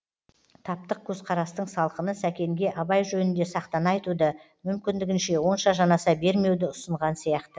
таптық көзқарастың салқыны сәкенге абай жөнінде сақтана айтуды мүмкіндігінше онша жанаса бермеуді ұсынған сияқты